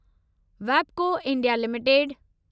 वैबको India limited